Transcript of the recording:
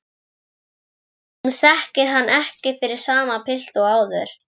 Hún þekkir hann ekki fyrir sama pilt og áður.